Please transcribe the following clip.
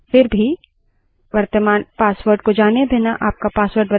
लेकिन वर्त्तमान password को अगर आप भूल गए हैं तो क्या करें